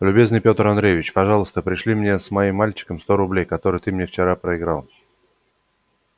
любезный пётр андреевич пожалуйста пришли мне с моим мальчиком сто рублей которые ты мне вчера проиграл